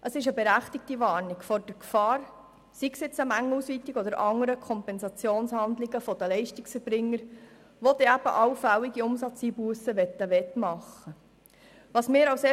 Das ist eine berechtigte Warnung vor der Gefahr einer Mengenausweitung oder anderer Kompensationshandlungen der Leistungserbringer, die dann allfällige Umsatzeinbussen wettmachen möchten.